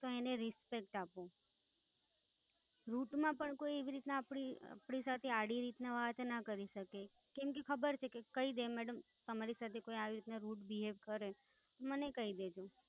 તો એને Respect આપો. Rut માં પણ કોઈ એવી રીતના આપણી, આપણી સાથે આડી રીતના વાત ના કરી શકે. કેમ કે ખબર છે કે કહી દે મેડમ, તમારી સાથે કોઈ આવી રીતના Rude Behaviour કરે, તો મને કહી દેજો.